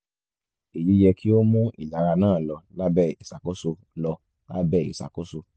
eyi yẹ ki o mu ilara naa lọ labẹ iṣakoso lọ labẹ iṣakoso